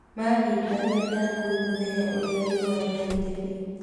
Maahihagia ta ngui mũthenya ũrĩa riũa rĩarĩte biũ.